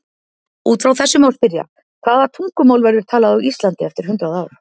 Út frá þessu má spyrja: Hvaða tungumál verður talað á Íslandi eftir hundrað ár?